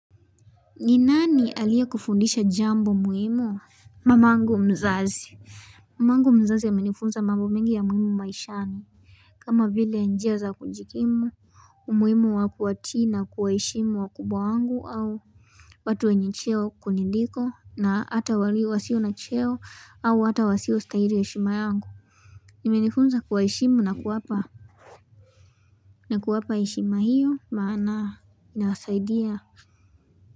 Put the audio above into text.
Ninani aliyekufundisha jambo muhimu Mamangu mzazi Mamangu mzazi amenifunza mambo mengi ya muhimu maishani kama vile ya njia za kujikimu umuhimu wa kuwatii na kuwaheshimu wakubwa wangu au watu wenye cheo kuniliko na hata walio wasio na cheo au hata wasio stahili heshima yangu imenifunza kuwaheshimu na kuwapa na kuwapa heshima hiyo maana nawasaidia.